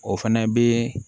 O fɛnɛ be